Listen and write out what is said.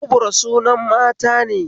Kubra sunan matane